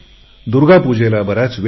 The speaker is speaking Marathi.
दूर्गापूजेला बराच वेळ आहे